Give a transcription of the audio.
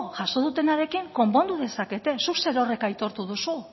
jaso dutenarekin konpondu dezakete zuk zerorrek aitortu duzu